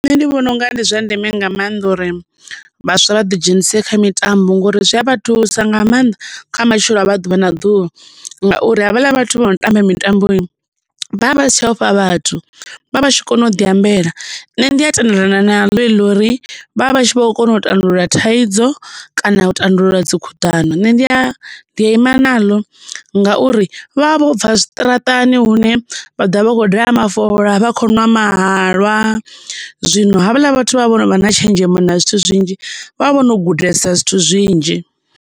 Nṋe ndi vhona unga ndi zwa ndeme nga mannḓa uri vhaswa vha ḓi dzhenise kha mitambo ngori zwi a vha thusa nga maanḓa kha matshilo avho a ḓuvha na ḓuvha ngauri havhaḽa vhathu vho no tamba mitambo vha vha si tsha ofha vhathu vha vha tshi kona u diambela. Nṋe ndi a tendelana naḽo heḽi ḽa uri vha vha vha tshi kho kona u tandulula thaidzo kana u tandulula dzi khuḓano nṋe ndi a ima naḽo ngauri vha vha vho bva zwiṱaraṱani hune vha ḓo vha vha khou daha mafola vha khou ṅwa mahalwa zwino havhala vhathu vha vha vhono vha na tshenzhemo na zwithu zwinzhi vha vhono gudesa zwithu zwinzhi.